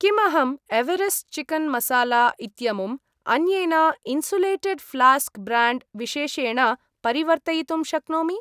किम् अहं Everest chicken masala इत्यमुम् अन्येन इन्सुलेटेड् फ्लास्क् ब्र्याण्ड् विशेषेण परिवर्तयितुं शक्नोमि?